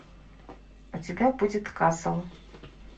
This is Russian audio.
у тебя будет касл